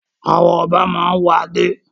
Àwọn ọba máa ń wọ adé.